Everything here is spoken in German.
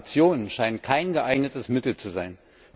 Sanktionen scheinen kein geeignetes Mittel zu sein.